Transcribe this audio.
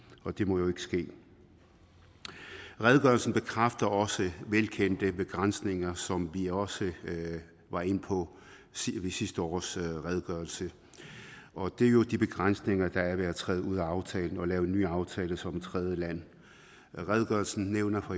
og det må jo ikke ske redegørelsen bekræfter også velkendte begrænsninger som vi også var inde på ved sidste års redegørelse og det er jo de begrænsninger der er ved at træde ud af aftalen og lave en ny aftale som et tredjeland redegørelsen nævner